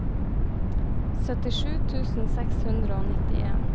syttisju tusen seks hundre og nittien